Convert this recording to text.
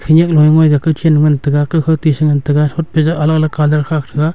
khanyak nu ee ngoiga ka khen ngan taga ka khaw to e si ngan taga hotpe jau alag alag colour khak thaga.